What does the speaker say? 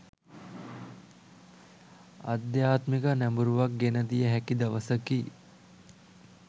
ආධ්‍යාත්මික නැඹුරුවක් ගෙන දිය හැකි දවසකි.